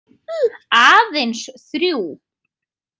Aðeins þrjú.